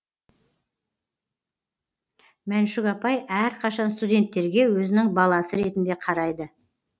мәншүк апай әрқашан студенттерге өзінің баласы ретінде қарайды